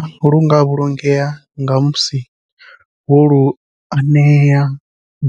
Lukanda lunga vhulungea nga musi wo lu anea